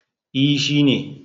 E, shi ne.